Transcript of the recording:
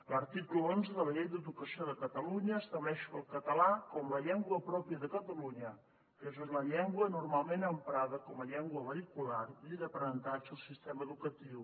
l’article onze de la llei d’educació de catalunya estableix el català com la llengua pròpia de catalunya que és la llengua normalment emprada com a llengua vehicular i d’aprenentatge al sistema educatiu